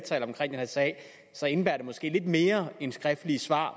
sag indebærer det måske lidt mere end skriftlige svar